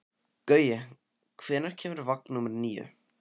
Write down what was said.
Gaui, hvenær kemur vagn númer níu?